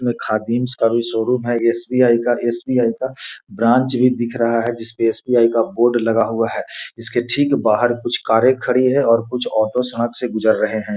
इसमें खादिम्स का भी शोरूम है एस.बी.आई. का एस.बी.आई. का ब्रांच भी दिख रहा है जिसपे एस.बी.आई. का बोर्ड लगा हुआ है इसके ठीक बाहर कुछ कारें खड़ी है और कुछ ऑटो सड़क से गुजर रहे है।